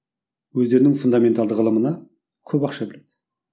өздерінің фундаменталды ғылымына көп ақша бөледі